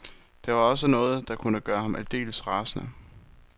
Der var også noget, der kunne gøre ham aldeles rasende.